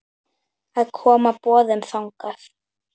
að koma boðum þangað.